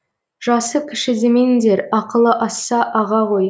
жасы кіші демеңдер ақылы асса аға ғой